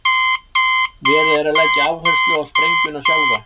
Verið er að leggja áherslu á sprengjuna sjálfa.